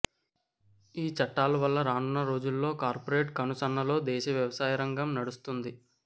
ఈ చట్టాల వల్ల రానున్న రోజుల్లో కార్పొరేట్ కనుసన్నల్లో దేశ వ్యవసాయరంగం నడుస్తుంది